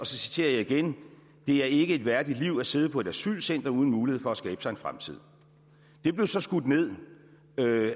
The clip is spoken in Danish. citerer jeg igen det er ikke et værdigt liv at sidde på et asylcenter uden mulighed for at skabe sig en fremtid det blev så skudt ned